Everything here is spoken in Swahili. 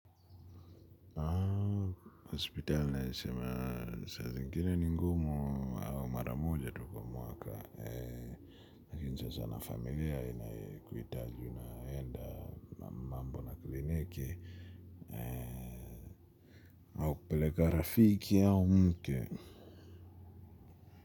Hospitali naweza sema saa zingine ni ngumu au mara moja tu kwa mwaka. Lakini sasa na familia inakuhitaji unaenda mambo na kliniki au kupeleka rafiki au mke.